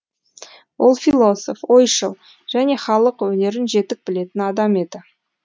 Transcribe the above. ол философ ойшыл және халық өнерін жетік білетін адам еді